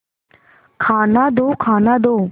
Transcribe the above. खाना दो खाना दो